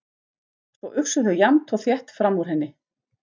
Svo uxu þau jafnt og þétt fram úr henni.